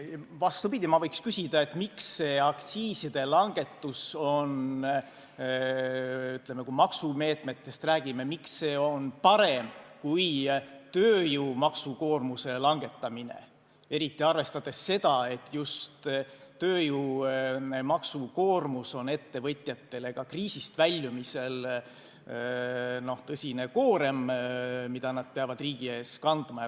Vastupidi, võiks küsida, miks aktsiiside langetus, kui me maksumeetmetest räägime, on parem kui tööjõu maksukoormuse langetamine, eriti arvestades seda, et just tööjõu maksukoormus on ettevõtjatele ka kriisist väljumisel tõsine koorem, mida nad peavad riigi ees kandma.